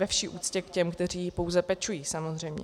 Ve vší úctě k těm, kteří pouze pečují, samozřejmě.